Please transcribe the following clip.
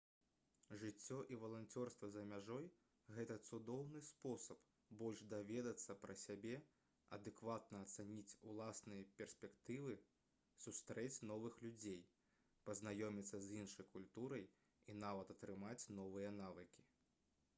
жыццё і валанцёрства за мяжой гэта цудоўны спосаб больш даведацца пра сябе адэкватна ацаніць уласныя перспектывы сустрэць новых людзей пазнаёміцца з іншай культурай і нават атрымаць новыя навыкі